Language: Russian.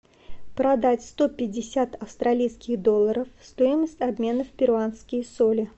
продать сто пятьдесят австралийских долларов стоимость обмена в перуанские соли